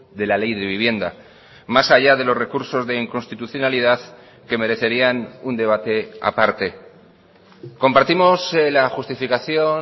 de la ley de vivienda más allá de los recursos de inconstitucionalidad que merecerían un debate aparte compartimos la justificación